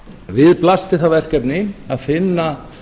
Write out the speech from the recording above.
við blasti það verkefni að finna